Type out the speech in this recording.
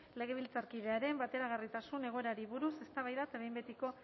legebiltzarkidearen bateragarritasun egoerari buruz eztabaida eta behin betiko